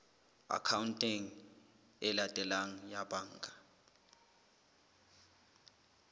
akhaonteng e latelang ya banka